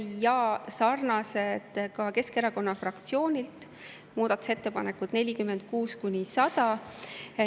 Ja sarnased on ka Keskerakonna fraktsiooni muudatusettepanekud 46–100.